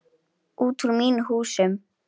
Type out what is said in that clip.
Út úr mínum húsum!